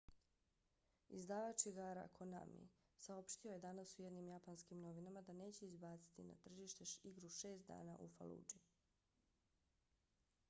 izdavač igara konami saopštio je danas u jednim japanskim novinama da neće izbaciti na tržište igru šest dana u faludži